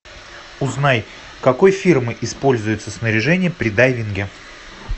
узнай какой фирмы используется снаряжение при дайвинге